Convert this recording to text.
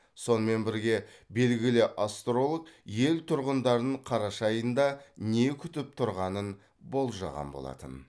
сонымен бірге белгілі астролог ел тұрғындарын қараша айында не күтіп тұрғанын болжаған болатын